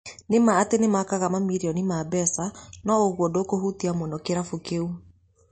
Nĩma atĩ nĩmakaga mamirioni ma mbeca no ũguo ndũkũhutia mũno kĩrabu kĩu